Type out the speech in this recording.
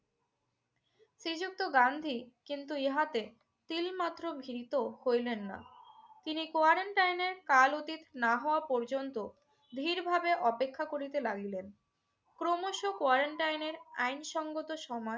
শ্রীযুক্ত গান্ধী কিন্তু ইহাতে তিলমাত্র ভীত হইলেন না। তিনি quarantine এর কাল অতীত না হওয়া পর্যন্ত ধীরভাবে অপেক্ষা করিতে লাগিলেন। ক্রমশ quarantine এর আইনসঙ্গত সময়